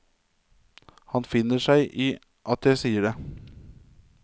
Han finner seg i at jeg sier det.